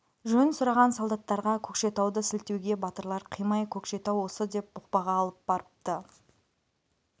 жөн сұраған солдаттарға көкшетауды сілтеуге батырлар қимай көкшетау осы деп бұқпаға алып барыпты